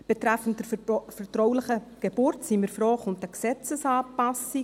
Betreffend die vertrauliche Geburt sind wir froh, kommt eine Gesetzesanpassung.